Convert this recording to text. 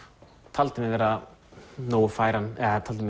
taldi mig vera nógu færan eða taldi